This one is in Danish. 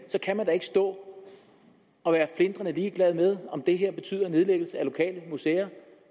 så kan man da ikke stå og være flintrende ligeglad med om det her betyder nedlæggelse af lokale museer